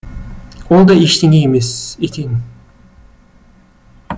ол да ештеңе емес екен